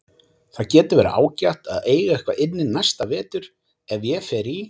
Það getur verið ágætt að eiga eitthvað inni næsta vetur ef ég fer í